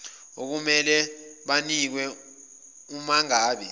ekumele banikwe umangabe